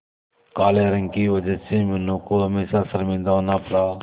काले रंग की वजह से मीनू को हमेशा शर्मिंदा होना पड़ा